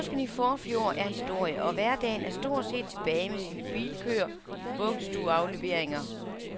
Påsken i forfjor er historie, og hverdagen er stort set tilbage med sine bilkøer, vuggestueafleveringer,